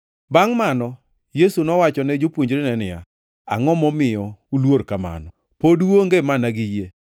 Bangʼ mano Yesu nowachone jopuonjrene niya, “Angʼo momiyo uluor kamano? Pod uonge mana gi yie?”